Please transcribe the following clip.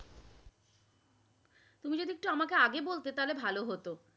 তুমি যদি একটু আমাকে আগে বলতে তাহলে ভালো